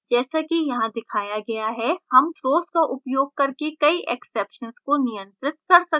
जैसा कि यहाँ दिखाया गया है हम का उपयोग throws करके कई exceptions को नियंत्रित कर सकते हैं